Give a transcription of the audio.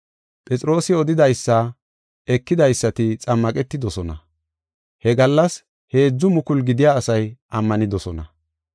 Phexroosi odidaysa ekidaysati xammaqetidosona. He gallas heedzu mukulu gidiya asay ammanidosona.